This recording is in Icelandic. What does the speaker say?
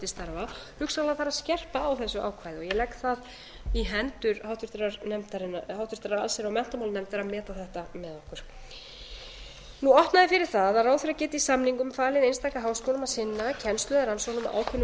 starfa hugsanlega þarf að skerpa á þessu ákvæði og ég legg það í hendur háttvirtrar allsherjar og menntamálanefndar að meta þetta með okkur opnað er fyrir það að ráðherra geti í samningum falið einstaka háskólum að sinna kennslu eða rannsóknum á ákveðnum